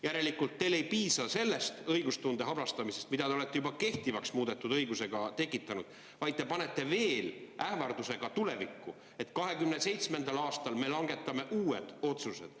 Järelikult teile ei piisa sellest õigustunde habrastamisest, mida te olete juba kehtivaks muudetud õigusega tekitanud, vaid te lisate tulevikuks veel ähvarduse, et 2027. aastal langetatakse uued otsused.